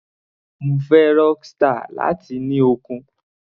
Mo fẹ́ Rockstar, láti ní okun.